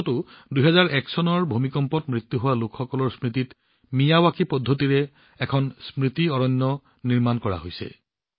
কচ্চতো ২০০১ চনৰ ভূমিকম্পত নিহত হোৱা লোকসকলৰ স্মৃতিত মিয়াৱাকি শৈলীত এখন স্মৃতি অৰণ্য নিৰ্মাণ কৰা হৈছে